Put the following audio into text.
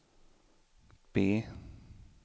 B